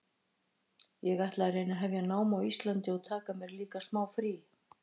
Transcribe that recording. Ég ætla að reyna að hefja nám á Íslandi og taka mér líka smá frí.